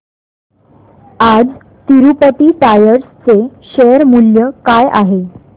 आज तिरूपती टायर्स चे शेअर मूल्य काय आहे